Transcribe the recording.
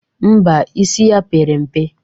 Ḿbà, isi ya pere mpe.